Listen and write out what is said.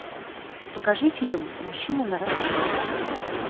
покажи фильм мужчина нарасхват